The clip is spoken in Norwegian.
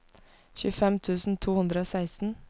tjuefem tusen to hundre og seksten